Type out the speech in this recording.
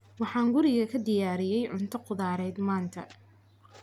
Waxaan guriga ku diyaariyay cunto khudradeed maanta.